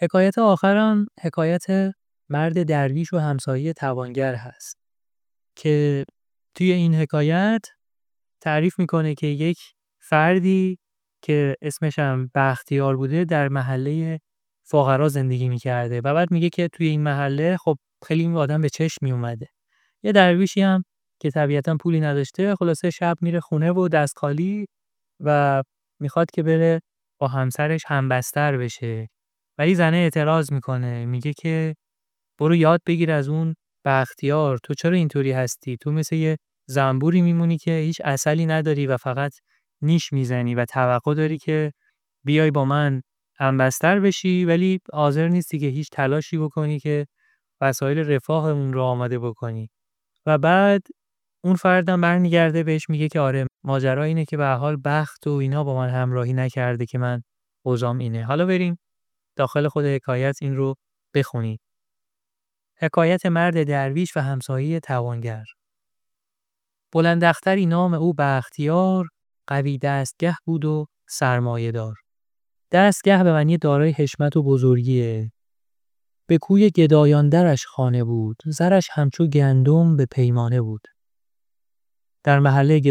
بلند اختری نام او بختیار قوی دستگه بود و سرمایه دار به کوی گدایان درش خانه بود زرش همچو گندم به پیمانه بود چو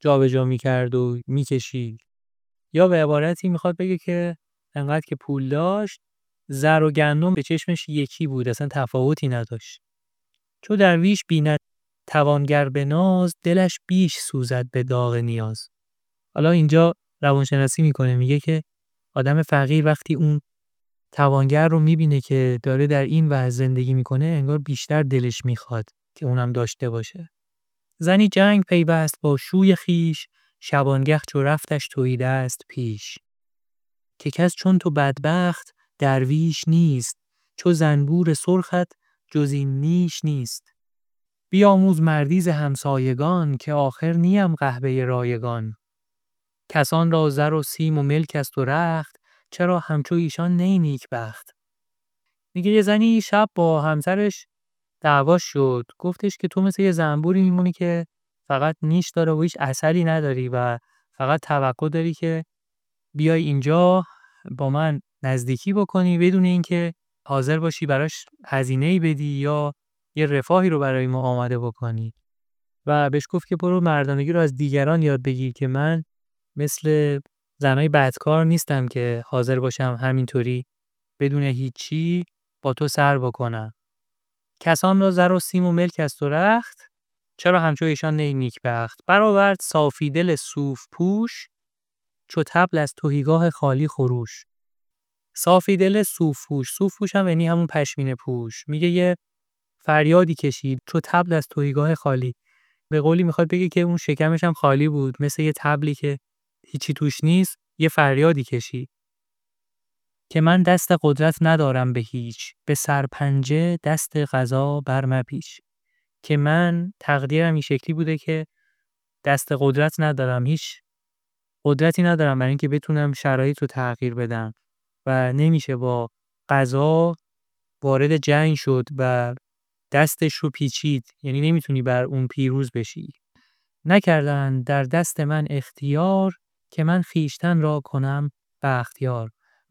درویش بیند توانگر به ناز دلش بیش سوزد به داغ نیاز زنی جنگ پیوست با شوی خویش شبانگه چو رفتش تهیدست پیش که کس چون تو بدبخت درویش نیست چو زنبور سرخت جز این نیش نیست بیاموز مردی ز همسایگان که آخر نیم قحبه رایگان کسان را زر و سیم و ملک است و رخت چرا همچو ایشان نه ای نیکبخت بر آورد صافی دل صوف پوش چو طبل از تهیگاه خالی خروش که من دست قدرت ندارم به هیچ به سرپنجه دست قضا بر مپیچ نکردند در دست من اختیار که من خویشتن را کنم بختیار